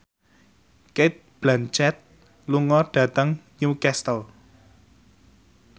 Cate Blanchett lunga dhateng Newcastle